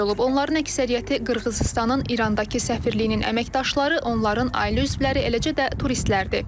Onların əksəriyyəti Qırğızıstanın İrandakı səfirliyinin əməkdaşları, onların ailə üzvləri, eləcə də turistlərdir.